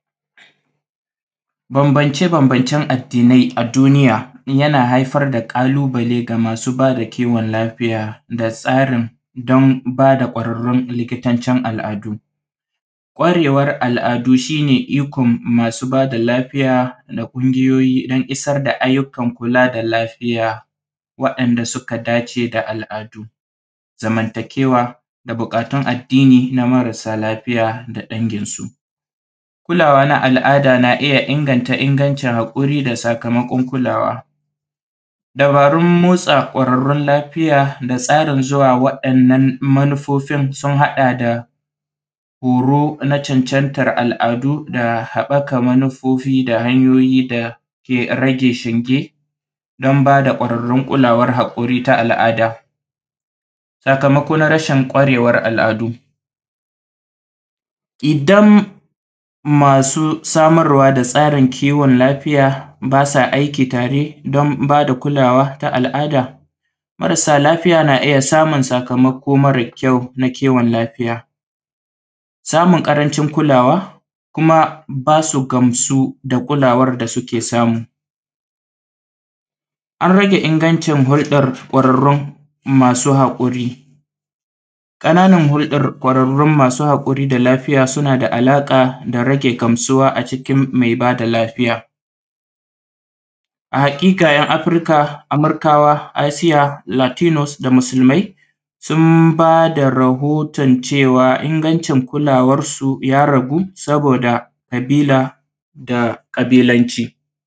Banbance banbancen addinai a duniya yana haifar da ƙalubale ga masu daba kiwon lafiya da tsarin don bada kwararrun likitaccen al’adu. Kwarewar al’adu shine ikon masu bada lafiya na ƙungiyoyi dan isar da ayyukan kula da lafiya waɗan da suka dace da al’adu zamanta kewa da buƙatun addini na masara lafiya da dangin su. kulawa na al’ada na iyya inganta ingancin hakuri da sakamakon kulawa. Dabarun motsa kwararrun lafiya da tsarinda tsarin zuwa wa ‘yan’ nan manufofin sun haɗa da horo na cancantar al’adu da haɓɓaka manufofi hanyoyi dake rage shinge dan bada kwararrun kulawar haƙuri ta al’ada. Sakamako na rashin kwarewar al’adu idan masu samarwa da tsarin kiwon lafiya basa aiki tare don bada kulawa na al’ada marasa lafiya na iyya samun sakamako mare kyau na kiwin lafiya. samun ƙarancin kulawa kuma basu gamsu da kulawan da suke samu. An rage hurɗan kwararrun masu masu haƙuri ƙanar hurɗan kwarru masu hakuri da lafiya sunada a laka da rage gamsuwa a jikin mai bada lafiya. Haƙika afirikawa, asiya, fulatinus da musulmai sun bada rahoton cewa ingancin kulawarsu ya ragu saboda ƙabila da kabilanci.